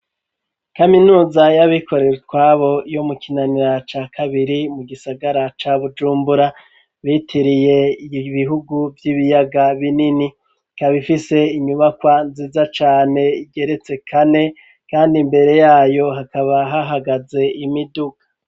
Kaminuza y'abikorere twabo yo mu kinanira ca kabiri mu gisagara ca bujumbura bitiriye ibihugu by'ibiyaga binini kaba ifise inyubakwa nziza cane igeretse kane kandi imbere yayo hakaba hahagaze imiduga.